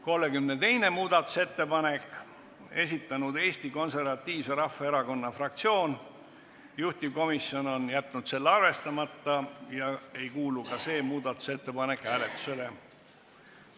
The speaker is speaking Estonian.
32. muudatusettepaneku on esitanud Eesti Konservatiivse Rahvaerakonna fraktsioon, juhtivkomisjon on jätnud selle arvestamata ja ka see muudatusettepanek hääletamisele ei kuulu.